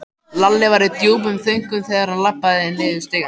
Lalli var í djúpum þönkum þegar hann labbaði niður stigann.